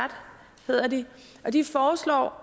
hedder de og de foreslår